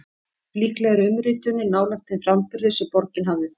Líklega er umritunin nálægt þeim framburði sem borgin hafði þá.